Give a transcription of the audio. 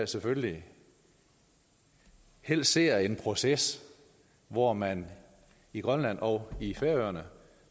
selvfølgelig helst ser en proces hvor man i grønland og i færøerne